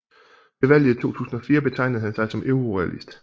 Ved valget i 2004 betegnede han sig som eurorealist